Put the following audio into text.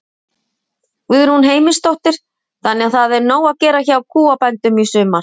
Guðrún Heimisdóttir: Þannig að það er nóg að gera hjá kúabændum í sumar?